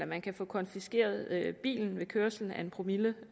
man kan få konfiskeret bilen ved kørsel med en promille